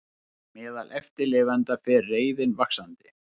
Meðal eftirlifenda fer reiðin vaxandi